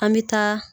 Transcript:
An bɛ taa